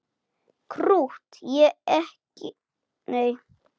Krútt og ekki krútt.